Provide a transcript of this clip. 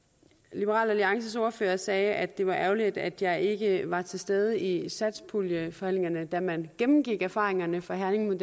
liberal alliances ordfører sagde at det var ærgerligt at jeg ikke var til stede i satspuljeforhandlingerne da man gennemgik erfaringerne fra herning men